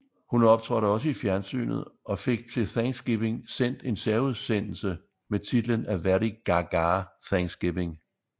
Hun optrådte også i fjernsynet og fik til Thanksgiving sendt en særudsendelse med titlen A Very Gaga Thanksgiving